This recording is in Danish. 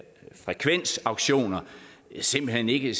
frekvensauktioner simpelt hen ikke